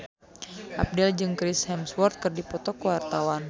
Abdel jeung Chris Hemsworth keur dipoto ku wartawan